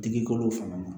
Digi kolo fanga na